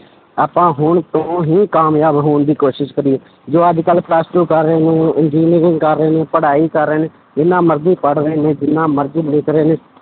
ਆਪਾਂ ਹੁਣ ਤੋਂ ਹੀ ਕਾਮਯਾਬ ਹੋਣ ਦੀ ਕੋਸ਼ਿਸ਼ ਕਰੀਏ, ਜੋ ਅੱਜ ਕੱਲ੍ਹ plus two ਕਰ ਰਹੇ ਨੇ engineering ਕਰ ਰਹੇ ਪੜ੍ਹਾਈ ਕਰ ਰਹੇ ਨੇ, ਜਿੰਨਾ ਮਰਜ਼ੀ ਪੜ੍ਹ ਰਹੇ ਨੇ ਜਿੰਨਾ ਮਰਜ਼ੀ ਰਹੇ ਨੇ